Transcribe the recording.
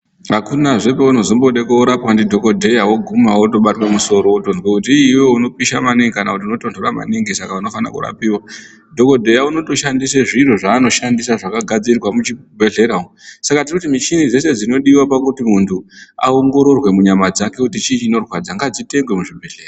Hakunazve kwaunozombode koorapwa ndidhokodheya woguma wotobatwe musoro wotezwe kuti , "i iwewe unopisha maningi kana kuti unotonhora maningi", saka unofanire kurapiwa. Dhokodheya unotoshandise zviro zvaanoshandisa zvakagadzirwe muchibhehlera umwu, sak a tirikuti michini dzese dzinodiwa pakuti munhu angororwe munyama dzake kuti chii chinorwadza ngadzitengewo zvibhehlera.